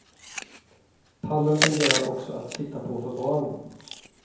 Pallen fungerar också att sitta på för barn.